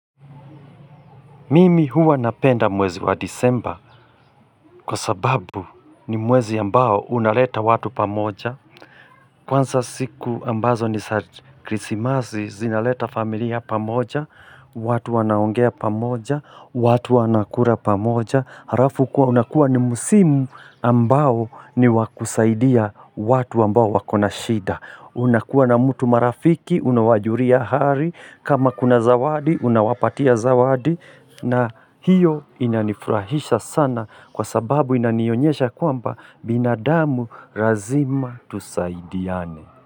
Mimi huwa napenda mwezi wa disemba kwa sababu ni mwezi ambao unaleta watu pamoja Kwanza siku ambazo ni za krisimazi zinaleta familia pamoja watu wanaongea pamoja, watu wanakura pamoja Harafu kuwa unakuwa ni musimu ambao ni wa kusaidia watu ambao wakona shida unakuwa na mtu marafiki, unawajuria hari kama kuna zawadi, unawapatia zawadi na hiyo inanifurahisha sana kwa sababu inanionyesha kwamba binadamu razima tusaidiane.